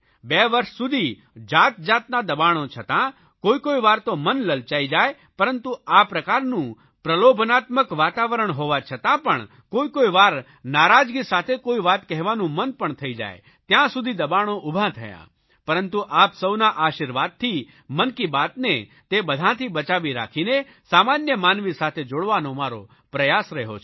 2 વર્ષ સુધી જાતજાતના દબાણો છતાં કોઇકોઇ વાર તો મન લલચાઇ જાય પરંતુ આ પ્રકારનું પ્રલોભનાત્મક વાતાવરણ હોવા છતાં પણ કોઇકોઇવાર નારાજગી સાથે કોઇ વાત કહેવાનું મન પણ થઇ જાય ત્યાં સુધી દબાણો ઊભા થયા પરંતુ આપ સૌના આશીર્વાદથી મન કી બાતને તે બધાંથી બચાવી રાખીને સામાન્ય માનવી સાથે જોડવાનો મારો પ્રયાસ રહ્યો છે